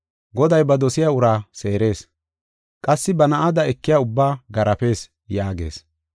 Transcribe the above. Goday ba dosiya uraa seerees; qassi ba na7ada ekiya ubba garaafes” yaagees.